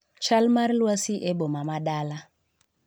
Chal mar lwasi e boma ma Dala